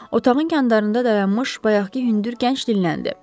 Otağın kəndarında dayanmış bayaqkı hündür gənc dilləndi.